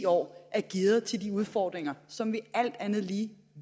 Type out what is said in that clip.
år er gearet til de udfordringer som vi alt andet lige